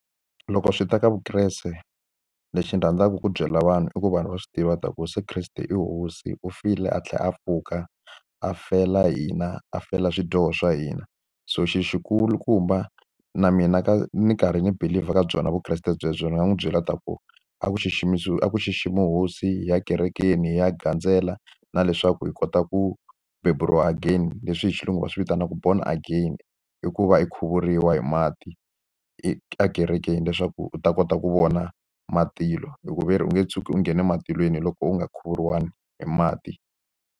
Loko swi ta ka vukreste, lexi ni rhandzaka ku byela vanhu i ku vanhu va swi tiva leswaku Yeso Kreste i hosi. U file a tlhela a pfuka, a fela hina, a fela swidyoho swa hina. So xilo xi kulukumba na mina ni karhi ni believe-a ka byona vukreste byelebyo, ndzi nga n'wi byela leswaku a ku a ku xiximiwe hosi, hi ya ekerekeni, hi ya gandzela, na leswaku hi kota ku beburiwa again leswi hi xilungu va swi vitanaka born agian. I ku va hi khuvuriwa hi mati ekerekeni leswaku u ta kota ku vona matilo. Hikuva ve ri u nge tshuki u nghene matilweni loko u nga khuvuriwanga hi mati.